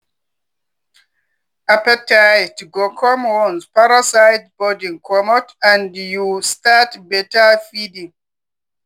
appetite go come once parasite burden comot and you start better feeding.